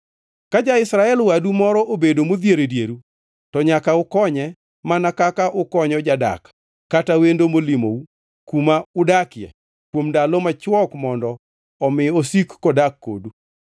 Ka ja-Israel wadu moro obedo modhier e dieru, to nyaka ukonye mana kaka ukonyo jadak kata wendo molimou kuma udakie kuom ndalo machwok mondo omi osik kodak kodu.